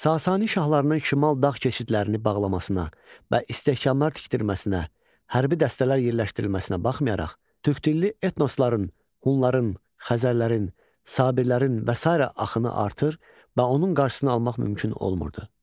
Sasani şahlarının şimal dağ keçidlərini bağlamasına və istehkamlar tikdirməsinə, hərbi dəstələr yerləşdirilməsinə baxmayaraq, türkdilli etnosların, hunların, xəzərlərin, sabirlərin və sairə axını artır və onun qarşısını almaq mümkün olmurdu.